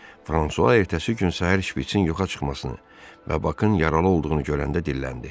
Fransua ertəsi gün səhər şpiçin yıxa çıxmasını və Bakın yaralı olduğunu görəndə dilləndi.